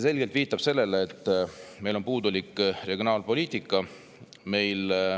See viitab sellele, et meil on puudulik regionaalpoliitika.